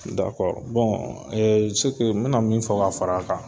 me na min fɔ ka far'a kan